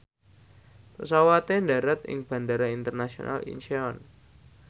pesawate ndharat ing Bandara Internasional Incheon